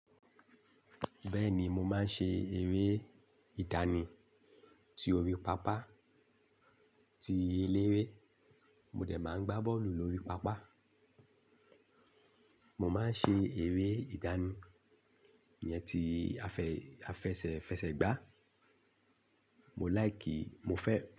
Bẹ́ẹ̀ni, mo máa ń ṣe eré ìdánì tí orí pápá, tí eléré, mo dẹ̀ máa ń gbá bọ́ọ̀lù lórí pápá. Mo máa ń ṣe eré ìdánì iyẹn tí afẹ̀sẹ̀ fẹsẹ̀ gbá. Mo láì kìí, mo fẹ́